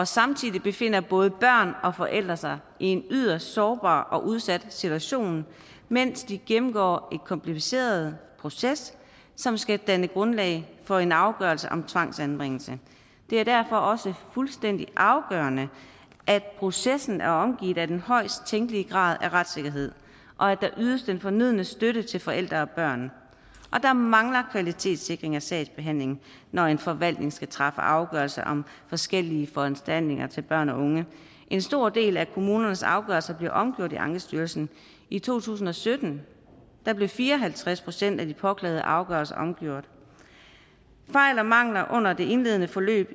samtidig befinder både børn og forældre sig i en yderst sårbar og udsat situation mens de gennemgår en kompliceret proces som skal danne grundlag for en afgørelse om tvangsanbringelse det er derfor også fuldstændig afgørende at processen er omgivet af den højest tænkelige grad af retssikkerhed og at der ydes den fornødne støtte til forældre og børn der mangler kvalitetssikring af sagsbehandlingen når en forvaltning skal træffe afgørelse om forskellige foranstaltninger til børn og unge en stor del af kommunernes afgørelser bliver omgjort i ankestyrelsen i to tusind og sytten blev fire og halvtreds procent af de påklagede afgørelser omgjort fejl og mangler under det indledende forløb